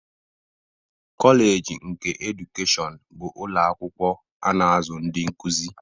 Koleji nke edukeshọn bụ ụlọ akwụkwọ a na-azụ ndị nkuzi.